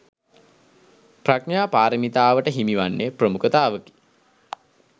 ප්‍රඥා පාරමිතාවට හිමි වන්නේ ප්‍රමුඛතාවකි.